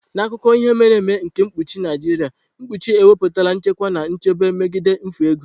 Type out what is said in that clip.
N'akụkọ ihe mere eme nke mkpuchi Naijiria, mkpuchi ewepụtala nchekwa na nchebe megide mfu ego.